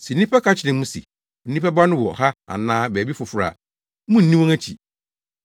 Sɛ nnipa ka kyerɛ mo se Onipa Ba no wɔ ha anaa baabi foforo a, munnni wɔn akyi.